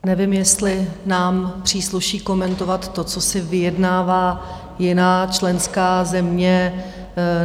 Nevím, jestli nám přísluší komentovat to, co si vyjednává jiná členská země.